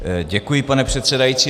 Děkuji, pane předsedající.